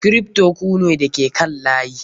Kripto ku ne da ke kan layi.